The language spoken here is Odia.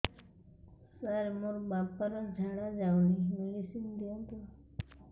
ସାର ମୋର ବାପା ର ଝାଡା ଯାଉନି ମେଡିସିନ ଦିଅନ୍ତୁ